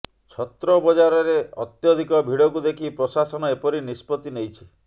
ଛତ୍ରବଜାରରେ ଅତ୍ୟଧିକ ଭିଡ଼କୁ ଦେଖି ପ୍ରଶାସନ ଏପରି ନିଷ୍ପତ୍ତି ନେଇଛି